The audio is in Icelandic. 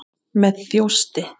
Með þjósti.